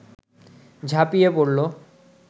ঝাঁপিয়ে পড়ল